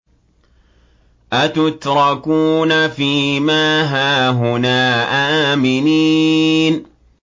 أَتُتْرَكُونَ فِي مَا هَاهُنَا آمِنِينَ